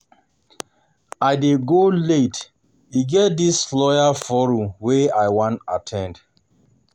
I dey go late e get dis lawyers forum wey I wan at ten d